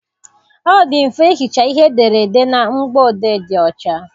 Ọ dị mfe ihicha ihe edere na ụgbọ odee dị ọch.